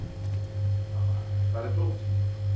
Tamar, hvar er dótið mitt?